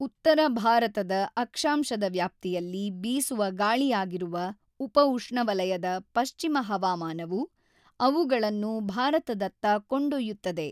ಉತ್ತರ ಭಾರತದ ಅಕ್ಷಾಂಶದ ವ್ಯಾಪ್ತಿಯಲ್ಲಿ ಬೀಸುವ ಗಾಳಿಯಾಗಿರುವ ಉಪಉಷ್ಣವಲಯದ ಪಶ್ಚಿಮ ಹವಾಮಾನವು ಅವುಗಳನ್ನು ಭಾರತದತ್ತ ಕೊಂಡೊಯ್ಯುತ್ತದೆ.